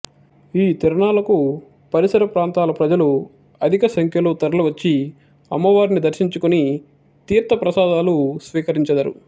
ఈ తిరునాళ్ళకు పరిసర ప్రాంతాల ప్రజలు అధిక సంఖ్యలో తరలి వచ్చి అమ్మవారిని దర్సించుకొని తీర్ధ ప్రసాదాలు స్వీకరించెదరు